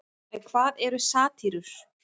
en hvað eru satírur